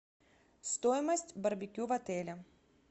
стоимость барбекю в отеле